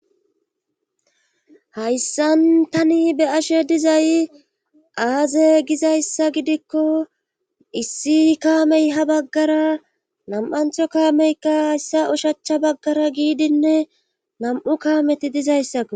hayssan tani be'ashe dizay aaze gizayssa gidikko issi kaamey ha baggara nam'antho kaameykka hayssa ushachcha baggara giidinne nam'u kaameti dizayssakko